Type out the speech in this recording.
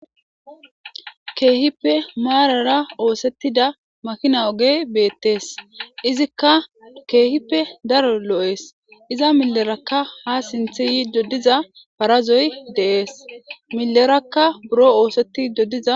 Keehippe maarara oothetida makina ogey beetees. Izika keehippe daro lo'ees. Iza milleraka ha sinththe yiza parazoy de'ees.milleraka buro oothetidi diza..